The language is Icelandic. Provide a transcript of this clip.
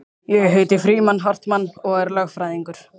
Ég heiti Frímann Hartmann og er lögfræðingur